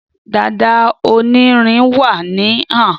Dada onirin wa ni han.